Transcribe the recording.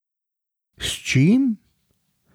S čim?